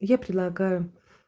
я предлагаю